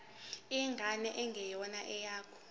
ingane engeyona eyakho